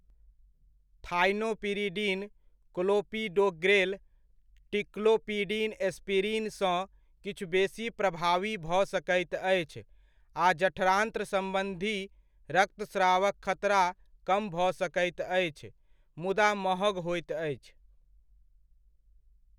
Thienopyridine, clopidogrel, ticlopidine aspirin सँ किछु बेसी प्रभावी भऽ सकैत अछि आ जठरान्त्र सम्बन्धी रक्तस्रावक खतरा कम भऽ सकैत अछि, मुदा महग होइत अछि।